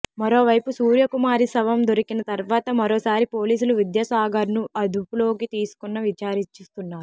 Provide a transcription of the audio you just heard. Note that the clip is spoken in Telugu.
మరోవైపు సూర్యకుమారి శవం దొరికిన తర్వాత మరోసారి పోలీసులు విద్యాసాగర్ను అదుపులోకి తీసుకొని విచారిస్తున్నారు